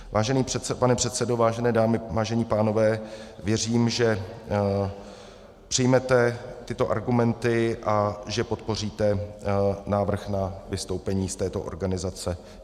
Vážený pane předsedo, vážené dámy, vážení pánové, věřím, že přijmete tyto argumenty a že podpoříte návrh na vystoupení z této organizace.